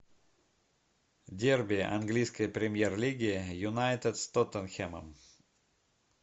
дерби английской премьер лиги юнайтед с тоттенхэмом